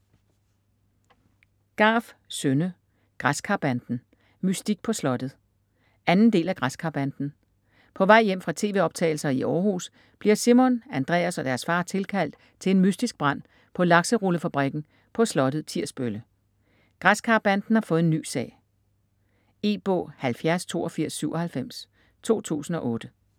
Garff, Synne: Græskarbanden - mystik på slottet 2. del af Græskarbanden. På vej hjem fra tv-optagelser i Århus bliver Simon, Andreas og deres far tilkaldt til en mystisk brand på Lakserullefabrikken på slottet Tirsbølle. Græskarbanden har fået en ny sag. E-bog 708297 2008.